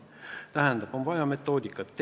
Tähendab, on vaja metoodikat.